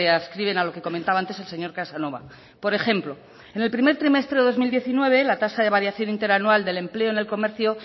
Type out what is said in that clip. adscriben a lo que comentaba antes el señor casanova por ejemplo en el primer trimestre de dos mil diecinueve la tasa de variación interanual del empleo en el comercio